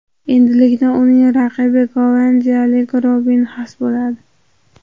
Endilikda uning raqibi gollandiyalik Robin Xaas bo‘ladi.